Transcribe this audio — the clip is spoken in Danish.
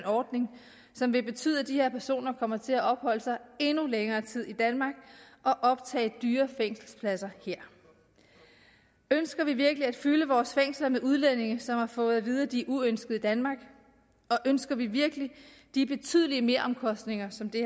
ordning som vil betyde at de her personer kommer til at opholde sig i endnu længere tid i danmark og optage dyre fængselspladser her ønsker vi virkelig at fylde vores fængsler med udlændinge som har fået at vide at de er uønskede i danmark og ønsker vi virkelig de betydelige meromkostninger som det